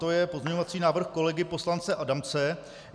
To je pozměňovací návrh kolegy poslance Adamce.